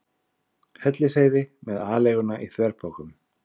Hellisheiði með aleiguna í þverpokum.